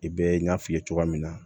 I bɛ n y'a f'i ye cogoya min na